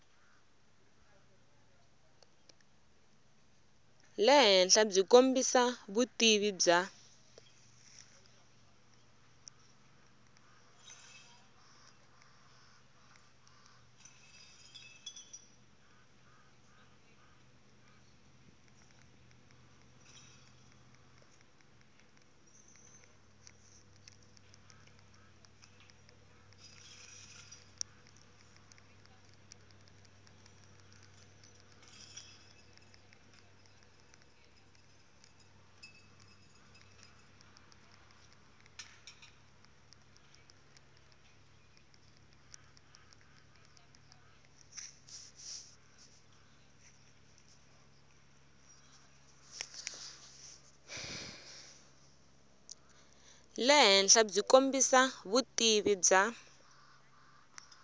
le henhlabyi kombisa vutivi bya